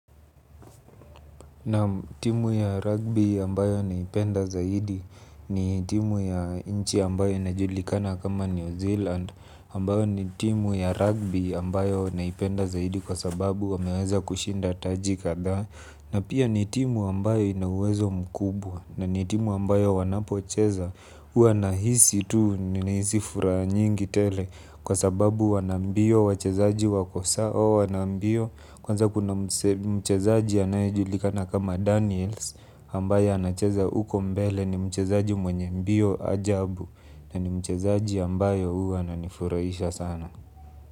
Naam timu ya ragbi ambayo naipenda zaidi ni timu ya nchi ambayo inajulikana kama New Zealand ambayo ni timu ya ragbi ambayo naipenda zaidi kwa sababu wameeza kushinda taji kadhaa na pia ni timu ambayo inauwezo mkubwa na ni timu ambayo wanapocheza uwa nahisi tu nihisi furaa nyingi tele kwa sababu wa nambio wachezaji wako sawa wa. Nambio. Kwanza kuna mchezaji anaejulikana kama Daniels Ambaya anacheza uko mbele ni mchezaji mwenye mbio ajabu. Na ni mchezaji ambayo huwa ananifuraisha sana.